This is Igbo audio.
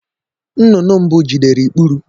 Nnụnụ mbụ jidere ikpuri